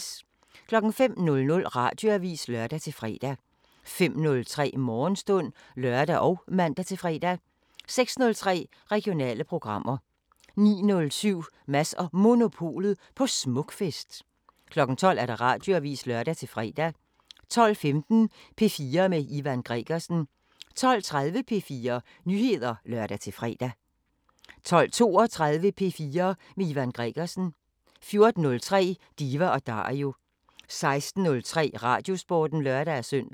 05:00: Radioavisen (lør-fre) 05:03: Morgenstund (lør og man-fre) 06:03: Regionale programmer 09:07: Mads & Monopolet på Smukfest 12:00: Radioavisen (lør-fre) 12:15: P4 med Ivan Gregersen 12:30: P4 Nyheder (lør-fre) 12:32: P4 med Ivan Gregersen 14:03: Diva & Dario 16:03: Radiosporten (lør-søn)